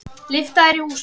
Lyfta er í húsinu.